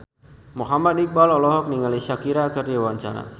Muhammad Iqbal olohok ningali Shakira keur diwawancara